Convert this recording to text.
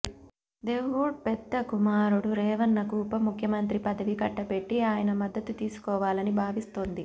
దేవెగౌడ పెద్ద కుమారుడు రేవణ్ణకు ఉప ముఖ్యమంత్రి పదవి కట్టబెట్టి ఆయన మద్దతు తీసుకోవాలని భావిస్తోది